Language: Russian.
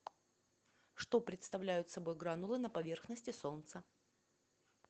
что представляют собой гранулы на поверхности солнца